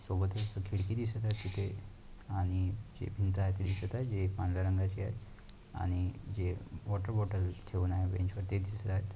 सोबत ही खिडकी दिसत आहे तिथे आणि जे भिंत आहे दिसत आहे जे पांढर्‍या रंगाची आहे आणि जे वॉटर बॉटेल ठेऊन आहे बेंच वरती दिसत आहेत.